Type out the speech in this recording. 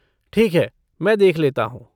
ठीक है, मैं देख लेता हूँ।